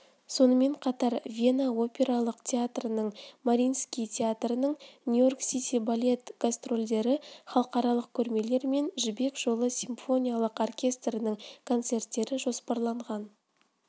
сонымен қатар вена опералық театрының мариинский театрының нью-йорк сити балет гастрольдері халықаралық көрмелер мен жібек жолы симфоникалық оркестрінің концерттері жоспарланған